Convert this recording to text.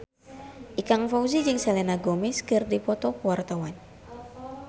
Ikang Fawzi jeung Selena Gomez keur dipoto ku wartawan